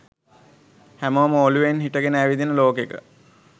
හැමෝම ඔලුවෙන් හිටගෙන ඇවිදින ලෝකෙක